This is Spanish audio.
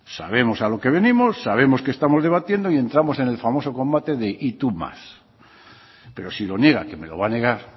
sabemos a lo que venimos sabemos que estamos debatiendo y entramos en el famoso combate del y tú más pero si lo niega que me lo va a negar